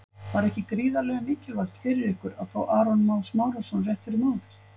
Var ekki gríðarlega mikilvægt fyrir ykkur að fá Aron Má Smárason rétt fyrir mót?